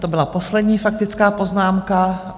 To byla poslední faktická poznámka.